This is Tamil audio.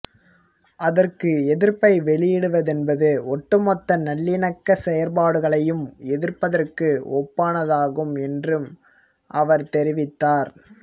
அதற்கு எதிர்ப்பை வெளியிடுவதென்பது ஒட்டுமொத்த நல்லிணக்க செயற்பாடுகளையும் எதிர்ப்பதற்கு ஒப்பானதாகும் என்றும் அவர் தெரிவித்தார்